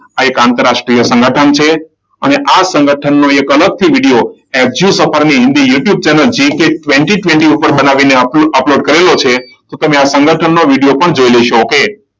આ એક આંતરરાષ્ટ્રીય સંગઠન છે. અને આ સંગઠનનો એક અલગથી વિડીયો એફ સફરની Hindi YouTube channel GK twenty twenty ઉપર બનાવીને અપલોડ કર્યો છે. તો તમે આ સંગઠનનો વિડીયો પણ જોઈ લેશો. okay?